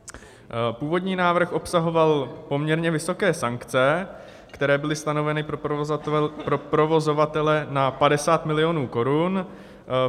Původní návrh obsahoval poměrně vysoké sankce, které byly stanoveny pro provozovatele na 50 milionů korun.